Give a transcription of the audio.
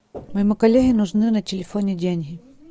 моему коллеге нужны на телефоне деньги